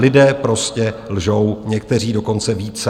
Lidé prostě lžou, někteří dokonce více.